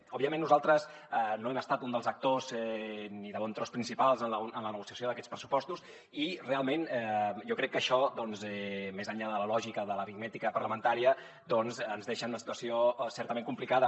òbviament nosaltres no hem estat un dels actors ni de bon tros principals en la negociació d’aquests pressupostos i realment jo crec que això doncs més enllà de la lògica de l’aritmètica parlamentària ens deixa en una situació certament complicada